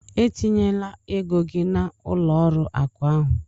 E tinyela ego gị na ụlọ ọrụ akụ ahụ!